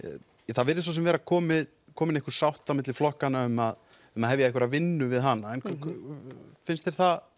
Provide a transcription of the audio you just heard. það virðist svo sem vera komin komin einhver sátt á milli flokkanna um að um að hefja einhverja vinnu við hana finnst þér það